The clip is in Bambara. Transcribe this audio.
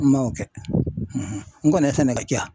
N m'o kɛ n kɔni ye sɛnɛ kɛ ca